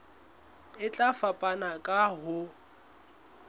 e tla fapana ka ho